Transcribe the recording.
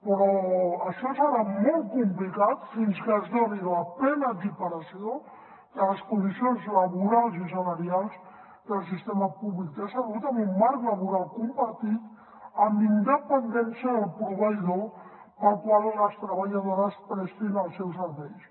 però això serà molt complicat fins que es doni la plena equiparació de les condicions laborals i salarials del sistema públic de salut amb un marc laboral compartit amb independència del proveïdor pel qual les treballadores prestin els seus serveis